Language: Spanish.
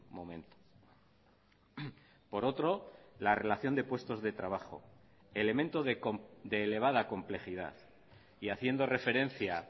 momento por otro la relación de puestos de trabajo elemento de elevada complejidad y haciendo referencia